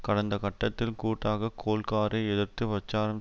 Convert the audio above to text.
கடந்த கட்டத்தில் கூட்டாக கோல்காரை எதிர்த்து பிரச்சாரம்